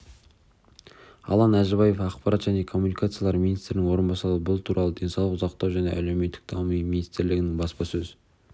алан әжібаев ақпарат және коммуникациялар министрінің орынбасары бұл туралы денсаулық сақтау және әлеуметтік даму министрлігінің баспасөз